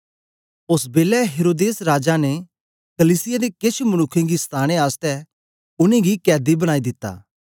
ओस बेलै हेरोदेस राजा ने कलीसिया दे केछ मनुक्खें गी सताने आसतै उनेंगी कैदी बनाई दित्ता